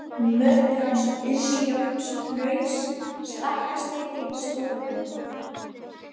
Murnuháls, Innri-Járnhnaus, Stakkarsleiti, Stórahlaup